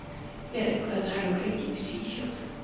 En er eitthvað talað um leikinn í Svíþjóð?